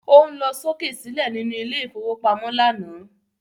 O ń lọ sókè sílẹ̀ nínú ilé ìfowópamọ́ lánàá